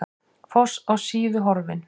Foss á Síðu horfinn